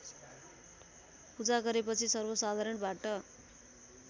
पूजा गरेपछि सर्वसाधारणबाट